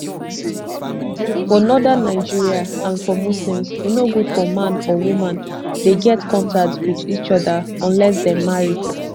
for northern nigeria and for muslims e no good for man or woman dey get contact wit each oda unless dem marry